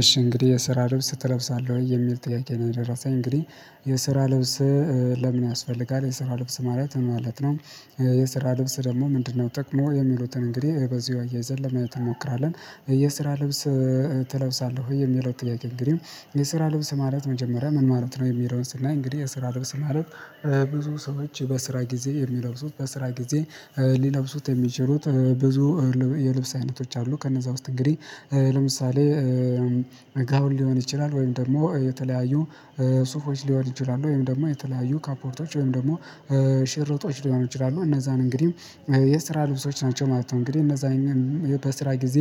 እሺ እንግዲህ የስራ ልብስ ትለብሳለህ ወይ የሚል ጥያቄ ነው የደረሰኝ እንግዲህ የስራ ልብስ ለምን ያስፈልጋል የስራ ልብስ ማለት ማለት ነው። የስራ ልብስ ደግሞ ምንድነው ጥቅሙ የሚሉትን እንግዲህ በዚሁ አያይዘን ለማየት ትሞክራለህ። የስራ ልብስ ትለብሳለህ ወይ የሚለው ጥያቄ እንግዲህ የስራ ልብስ ማለት መጀመሪያ ምን ማለት ነው። የሚለውን ስናይ እንግዲህ የስራ ልብስ ማለት ብዙ ሰዎች በስራ ጊዜ የሚለብሱት በስራ ጊዜ። ሊለብሱት የሚችሉት ብዙ የልብስ አይነቶች አሉ። ከነዛ ውስጥ እንግዲህ ለምሳሌ። ጋወን ሊሆን ይችላል ወይም ደግሞ የተለያዩ ሱፎች ሊሆን ይችላል ወይም ደግሞ የተለያዩ ካፖርቶች ወይም ደግሞ ሽርጦች ሊሆኑ ይችላሉ። እነዛን እንግዲህ የስራ ልብሶች ናቸው ማለት ነው። እንግዲህ እነዛ አይነት በስራ ጊዜ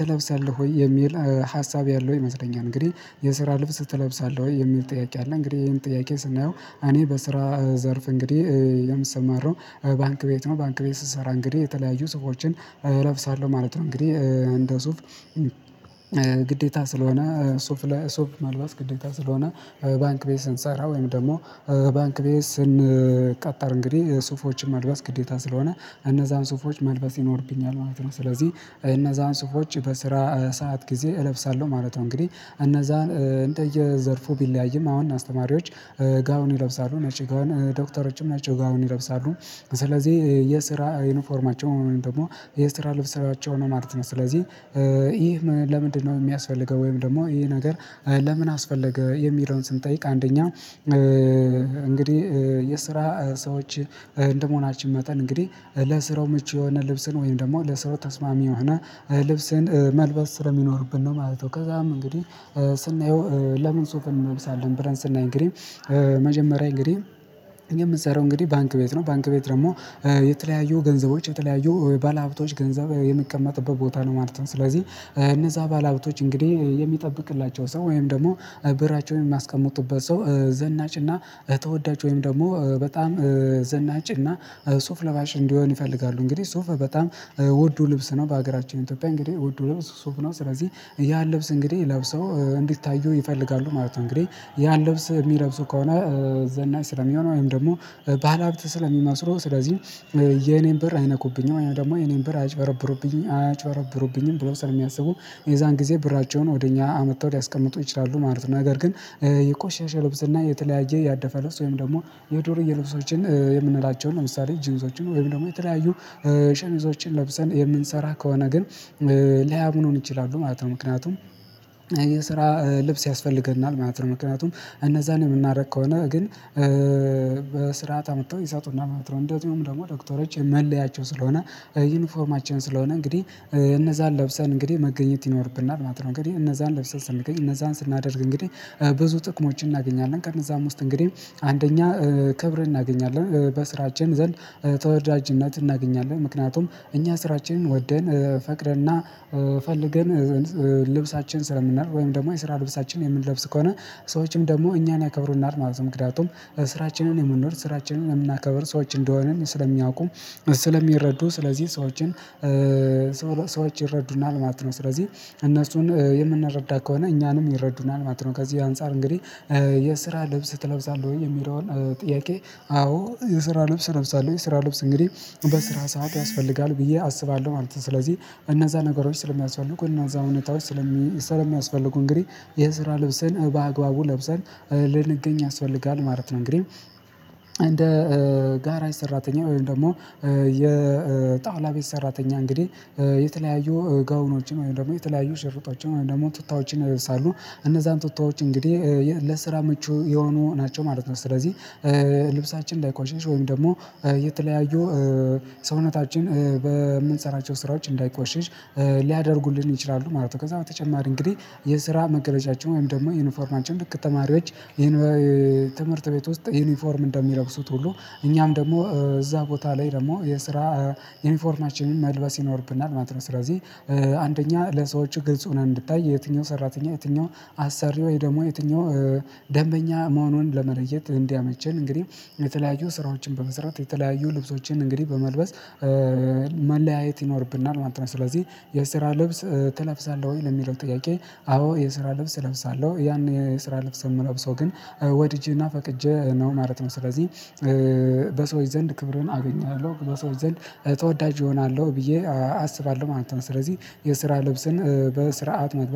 ትለብሰለህ ወይ የሚል ሀሳብ ያለው ይመስለኛል። እንግዲህ የስራ ልብስ ትለብሳለህ ወይ የሚል ጥያቄ አለ። እንግዲህ ይሄን ጥያቄ ስናየው እኔ በስራ ዘርፍ እንግዲህ የምሰማራው ባንክ ቤት ነው። ባንክ ቤት ስትሰራ እንግዲህ የተለያዩ ሱፎችን እለብሳለሁ ማለት ነው። እንግዲህ እንደ ሱፍ ግዴታ ስለሆነ ሱፍ ሱፍ መልባስ ግዴታ ስለሆነ ባንክ ቤት ስንሰራ ወይም ደግሞ ባንክ ቤት ስንቀጥዕር እንግዲህ ሱፎችን ማልበስ ግዴታ ስለሆነ እነዛን ሱፎች መልበስ ይኖርብኛል ማለት ነው። ስለዚህ እነዛን ስፎች በስራ ሰዓት ጊዜ እለብሳለሁ ማለት ነው። እንግዲህ እነዛን እንደየዘርፉ ቢለያይም አሁን አስተማሪዎች ጋውን ይለብሳሉ ነጭ ዶክተሮችም ነጭ ጋውን ይለብሳሉ። ስለዚህ የስራ ዩኒፎርማቸው ደግሞ የስራ ልብስ ስራቸው ነው ማለት ነው። ስለዚህ ይህ ለምንድነው የሚያስፈልገው ወይም ደግሞ ይሄ ነገር ለምን አስፈለገ? የሚለውን ስንጠይቅ አንደኛ እንግዲህ የስራ ሰዎች እንደመሆናችን መጠን እንግዲህ ለስራው ምቹ የሆነ ልብስን ወይም ደግሞ ለስራው ተስማሚ የሆነ ልብስን መልበስ ስር የሚኖርብን ነው ማለት ነው። ከዛም እንግዲህ ስናየው ለምን ሱፍን እንመብሳለን ብለን ስናይ እና እንግዲህ መጀመሪያ እንግዲህ እኔ የምንሰራው እንግዲህ ባንክ ቤት ነው ባንክ ቤት ደግሞ የተለያዩ ገንዘቦች የተለያዩ ባለሀብቶች ገንዘብ የሚቀመጥበት ቦታ ነው። ማለት ነው። ስለዚህ እነዛ ባለሀብቶች እንግዲህ የሚጠብቅላቸው ሰው ወይም ደግሞ ብራቸውን የማስቀምጡበት ሰው ዘናጭና እ ተወዳጅ ወይም ደግሞ በጣም ዘናጭና ሱፍ ለባሽ እንዲሆን ይፈልጋሉ። እንግዲህ ሱፍ በጣም ውዱ ልብስ ነው በሀገራቸው ኢትዮጵያ እንግዲህ ውዱ ልብስ ሱፍ ነው። ስለዚህ ያን ልብስ እንግዲህ ለብሰው እንዲታዩ ይፈልጋሉ ማለት ነው። እንግዲህ ያን ለብስ የሚለብሱ ከሆነ ዘናጭ ስለሚሆነው ወይም ደግሞ ባለሀብት ስለሚመስረው ስለዚህ የኔን ብር አይነኩብኝም ደግሞ የኔን በር አያጭበረብሩብኝም አያጭበረብሩብኝም ብሎ ስለሚያስቡ የዛን ጊዜ ብራቸውን ወደ እኛ አመጥተው ሊያስቀምጡ ይችላሉ ማለት ነው። ነገር ግን የቆሸሸ ልብስ እና የተለያየ ያደፈ ልብስ ወይም ደግሞ የዱርየ ልብሶችን የምንላቸውን ለምሳሌ ጂንሶችን ወይም ደግሞ የተለያዩ ሸሚዞችን ለብሰን የምንሰራ ከሆነ ግን ሊያምኑን ይችላሉ ማለት ነው። ምክንያቱም ይሄ ስራ ልብስ ያስፈልገናል ማለት ነው። ምክንያቱም እነዛን የምናደርግ ከሆነ ግን በስርዓት አምጥተው ይሰጡናል ማለት ነው። እንደዚውም ደግሞ ዶክተሮች መለያቸው ስለሆነ ዩኒፎርማችን ስለሆነ እንግዲህ እነዛን ለብሰን እንግዲህ መገኘት ይኖርብናል ማለት ነው። እንግዲህ እነዛን ለብሰን ስንገኝ እነዛን ስናደርግ እንግዲህ ብዙ ጥቅሞችን እናገኛለን። ከእነዛም ውስጥ እንግዲህ አንደኛ ክብር እናገኛለን በስራችን ዘንድ ተወዳጅነት እናገኛለን። ምክንያቱም እኛ ስራችንን ወደን ፈቅደንና ፈልገን ልብሳችን ስለምናውቅ ወይም ደግሞ የስራ ልብሳችን የምንለብስ ከሆነ ሰዎችም ደግሞ እኛን ያከብሩናል ማለት ምክንያቱም ስራችንን የምንኖር ስራችንን የምናከብር ሰዎች እንደሆንን ስለሚያውቁ ስለሚረዱ ስለዚህ ሰዎችን ሰዎች ይረዱናል ማለት ነው። ስለዚህ እነሱን የምንረዳ ከሆነ እኛንም ይረዱናል ማለት ነው። ከዚህ አንፃር እንግዲህ የስራ ልብስ ትለብሳለህ ወይ የሚለውን ጥያቄ አዎ የስራ ልብስ እለብሳለው የስራ ልብስ እንግዲህ በስራ ሰዓት ያስፈልጋል ብዬ አስባለሁ ማለት ነው። ስለዚህ እነዛ ነገሮች ስለሚያስፈልጉ እነዛ እውነታዎች ስለሚ የሚያስፈልጉ እንግዲህ የስራ ልብስን በአግባቡ ለብሰን ልንገኝ ያስፈልጋል ማለት ነው። እንግዲህ እንደ ጋራጅ ሰራተኛ ወይም ደግሞ የጣውላ ቤት ሰራተኛ እንግዲህ የተለያዩ ጋውኖችን ወይም ደግሞ የተለያዩ ሽርጦችን ወይም ደግሞ ቱታዎችን ይለብሳሉ። እነዛን ቱታዎች እንግዲህ ለስራ ምቹ የሆኑ ናቸው ማለት ነው። ስለዚህ ልብሳችን እንዳይቆሽሽ ወይም ደግሞ የተለያዩ ሰውነታችን በምንሰራቸው ስራዎች እንዳይቆሽሽ ሊያደርጉልን ይችላሉ ማለት ነው። ከዛ በተጨማሪ እንግዲህ የስራ መገለጫቸው ወይም ደግሞ ዩኒፎርማችን ልክ ተማሪዎች ይሄን ትምህርት ቤት ውስጥ ዩኒፎርም እንደሚለብሱት ሁሉ እኛም ደግሞ እዛ ቦታ ላይ ደግሞ የስራ ዩኒፎርማችንን መልበስ ይኖርብናል ማለት ነው። ስለዚህ አንደኛ ለሰዎች ግልጽ ሆነን እንድታይ የትኛው ሰራተኛ የትኛው አሰሪ ወይ ደግሞ የትኛው ደንበኛ መሆኑን ለመለየት እንዲያመቸን እንግዲህ የተለያዩ ስራዎችን በመሰረት የተለያዩ ልብሶችን እንግዲህ በመልበስ መለያየት ይኖርብናል ማለት ነው። ስለዚህ የስራ ልብስ ትለብሳለህ ወይ ለሚለው ጥያቄ? አዎ የስራ ልብስ እለብሳለሁ ያንን የስራ ልብስ የምለብሰው ግን ወድጄና ፈቅጄ ነው ማለት ነው። ስለዚህ በሰዎች ዘንድ ክብርን አገኘዋለሁ በሰዎች ዘንድ ተወዳጅ እሆናለሁ ብዬ አስባለሁ ማለት ነው። ስለዚህ የስራ ልብስን በስርዓት መግባት